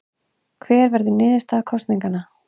Hver verður niðurstaða kosninganna?